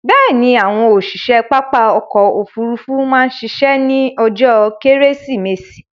Bẹ̀ẹ̀ni, àwọn òṣiṣe pápá ọkò òfurufú má ṣiṣẹ́ ní ọjó kẹ́rẹ́sìmẹsì